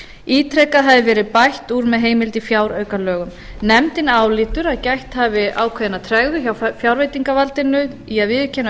ítrekað hafi verið bætt með heimild í fjáraukalögum nefndin álítur að gætt hafi ákveðinnar tregðu hjá fjárveitingavaldinu í að viðurkenna